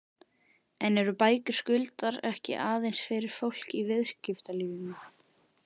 En eru bækur Skuldar ekki aðeins fyrir fólk í viðskiptalífinu?